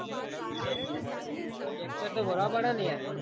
આ lecture તો ભરવા પડે નહી યાર.